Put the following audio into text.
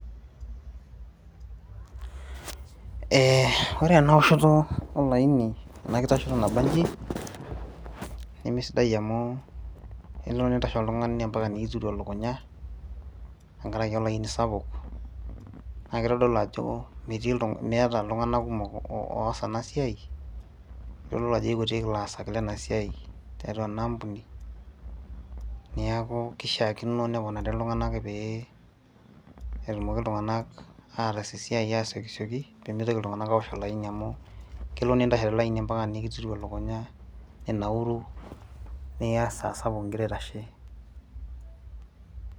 ee ore ena oshoto olaini ena kitashoto nabanji nimisidai amu elo nintashe oltung'ani ampaka nikitiru elukunya tenkaraki olaini sapuk naa kitodolu ajo meeta iltung'anak kumok oos ena siai yiololo ajo ikutik ilaasak lenasiai tiatua ena ampuni niaku kishiakino neponari iltung'anak pee etumoki iltung'anak ataas esiai asiokisioki pemitoki iltung'anak awosh olaini amu kelo nintashe tolaini ampaka nikitiru elukunya ninauru niya esaa sapuk ingira aitashe.